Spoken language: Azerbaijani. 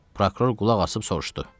Prokuror qulaqasıb soruşdu: